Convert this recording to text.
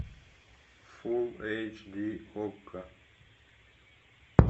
фулл эйч ди окко